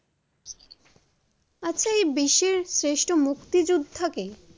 আচ্ছা এই বিশ্বে শ্রেষ্ঠ মুক্তিযোদ্ধা কে?